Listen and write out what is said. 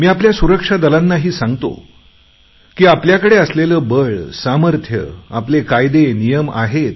मी आपल्या सुरक्षा दलांनाही सांगतो की आपल्याकडे असलेले बळ सामर्थ्य आपले कायदेनियम आहेत